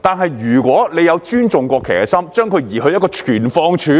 但是，如果政府有尊重國旗的心，把它移去一個存放處，